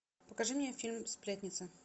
покажи мне фильм сплетница